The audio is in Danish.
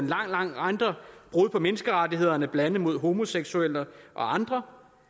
lang række andre brud på menneskerettighederne blandt andet mod homoseksuelle og andre